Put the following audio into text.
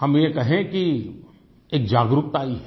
हम ये कहें कि एक जागरूकता आई है